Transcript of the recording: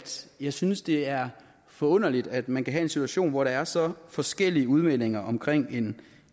jeg synes det er forunderligt at man kan have en situation hvor der er så forskellige udmeldinger omkring en